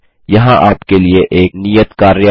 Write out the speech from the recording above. यहाँ आपके लिए एक नियत कार्य है